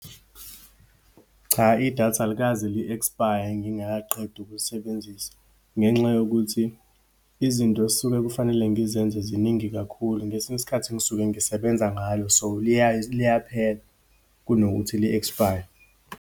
Cha, idatha alikaze li-expire ngingakaqedi ukulisebenzisa ngenxa yokuthi izinto esuke kufanele ngizenze ziningi kakhulu, ngesinye isikhathi ngisuke ngisebenza ngalo. So, liyaphela kunokuthi li-expire.